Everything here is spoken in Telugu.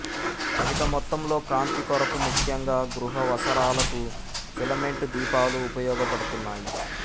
అధిక మొత్తంలో కాంతి కొరకు ముఖ్యంగా గృహావసరాలకు ఫిలమెంటు దీపాలు ఉపయోగ పడ్తున్నాయి